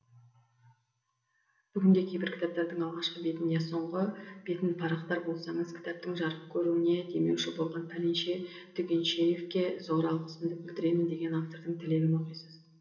бүгінде кейбір кітаптардың алғашқы бетін я соңғы бетін парақтар болсаңыз кітаптың жарық көруіне демеуші болған пәленше түгеншеевке зор алғысымды білдіремін деген автордың тілегін оқисыз